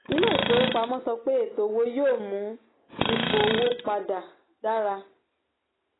ilé ìfowópamọ́ sọ pé ètò owó yóò mú ipò owó pa dà dára.